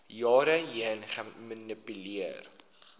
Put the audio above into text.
jare heen gemanipuleer